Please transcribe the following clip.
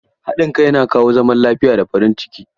Haɗin kai yana kawo zaman lafiya da farin ciki.